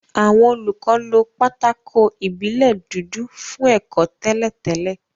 Àwọn olùkọ́ lo pátákó ìbílẹ̀ dúdú fún ẹ̀kọ́ tẹ́lẹ̀ tẹ́lẹ̀